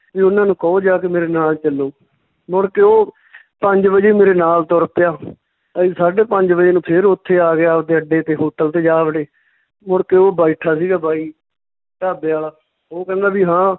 ਵੀ ਓਹਨਾਂ ਨੂੰ ਕਹੋ ਜਾ ਕੇ ਮੇਰੇ ਨਾਲ ਚੱਲੋ ਮੁੜ ਕੇ ਓਹ ਪੰਜ ਵਜੇ ਮੇਰੇ ਨਾਲ ਤੁਰ ਪਿਆ ਅਸੀਂ ਸਾਢੇ ਪੰਜ ਵਜੇ ਨੂੰ ਫੇਰ ਓਥੇ ਆ ਗਿਆ ਅੱਡੇ ਤੇ hotel ਤੇ ਜਾ ਵੜੇ, ਮੁੜਕੇ ਓਹ ਬੈਠਾ ਸੀਗਾ ਬਾਈ ਢਾਬੇ ਆਲਾ, ਉਹ ਕਹਿੰਦਾ ਵੀ ਹਾਂ,